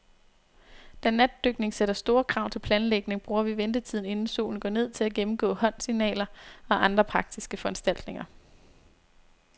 Da natdykning sætter store krav til planlægning, bruger vi ventetiden, inden solen går ned, til at gennemgå håndsignaler og andre praktiske foranstaltninger.